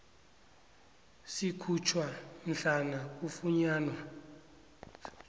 sikhutjhwa mhlana kufunyanwa